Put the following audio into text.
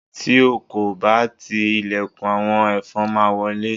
ti o ko ba ti ilẹkùn, awọn ẹfọn ma wọlé